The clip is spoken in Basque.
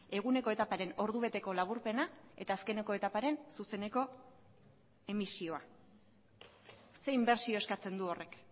eguneko etaparen ordubeteko laburpena eta azkeneko etaparen zuzeneko emisioa ze inbertsio eskatzen du horrek